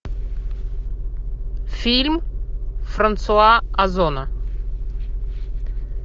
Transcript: фильм франсуа озона